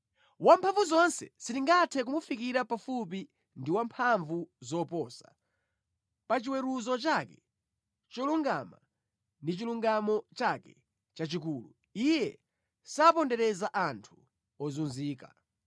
Wamphamvuzonse sitingathe kumufikira pafupi ndi wa mphamvu zoposa; pa chiweruzo chake cholungama ndi mʼchilungamo chake chachikulu Iye sapondereza anthu ozunzika.